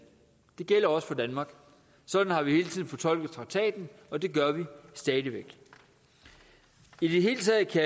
det gælder også for danmark sådan har vi hele tiden fortolket traktaten og det gør vi stadig væk i det hele taget kan